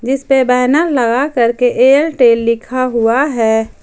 इसपे बैनर लगा करके एयरटेल लिखा हुआ है।